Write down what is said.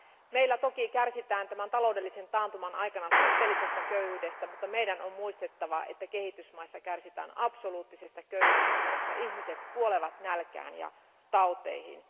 Meillä toki kärsitään tämän taloudellisen taantuman aikana suhteellisesta köyhyydestä, mutta on muistettava, että kehitysmaissa kärsitään absoluuttisesta köyhyydestä, jossa ihmiset kuolevat nälkään ja tauteihin.